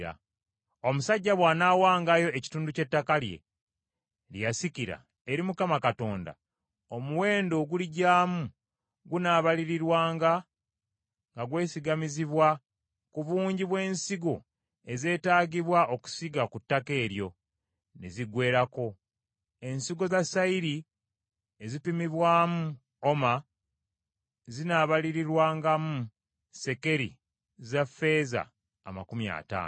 “Omusajja bw’anaawangayo ekitundu ky’ettaka lye, lye yasikira, eri Mukama Katonda, omuwendo oguligyamu gunaabalirirwanga nga gwesigamizibwa ku bungi bw’ensigo ezeetaagibwa okusiga ku ttaka eryo ne ziggweerako; ensigo za sayiri ezipimibwamu oma zinaabalirirwangamu sekeri za ffeeza amakumi ataano.